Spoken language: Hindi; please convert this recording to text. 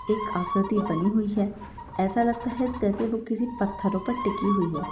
एक आकृति बनी हुई है ऐसा लगता है जैसे वो किसी पत्थरों पर टिकी हुई हो।